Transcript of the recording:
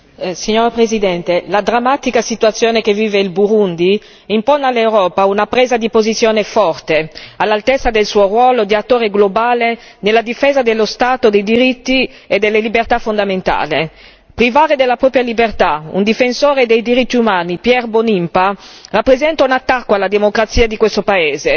Signora Presidente, onorevoli colleghi, la drammatica situazione che vive il Burundi impone all'Europa una presa di posizione forte all'altezza del suo ruolo di attore globale nella difesa dello Stato di diritto e delle libertà fondamentali. Privare della propria libertà un difensore dei diritti umani, Pierre Mbonimpa, rappresenta un attacco alla democrazia di questo paese,